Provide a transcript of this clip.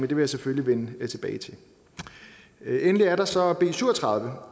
vil jeg selvfølgelig vende tilbage til endelig er der så b syv og tredive